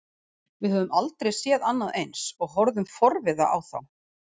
Við höfðum aldrei séð annað eins og horfðum forviða á þá.